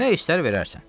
Nə istər verərsən.